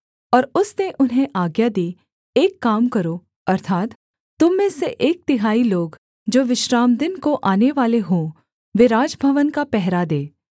और उसने उन्हें आज्ञा दी एक काम करो अर्थात् तुम में से एक तिहाई लोग जो विश्रामदिन को आनेवाले हों वे राजभवन का पहरा दें